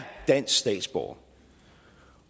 dansk statsborger